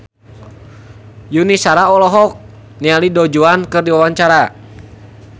Yuni Shara olohok ningali Du Juan keur diwawancara